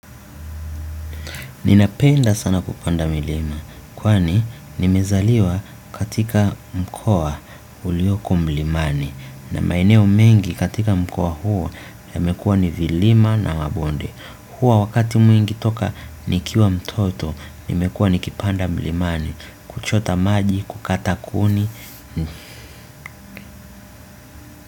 Ninapenda sana kupanda milima, kwani nimezaliwa katika mkoa uliyoko mlimani. Na maeneo mengi katika mkoa huo yamekua ni vilima na wabonde. Huo wakati mwingi toka nikiwa mtoto, nimekua nikipanda mlimani, kuchota maji, kukata kuni.